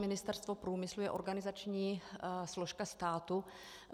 Ministerstvo průmyslu je organizační složka státu.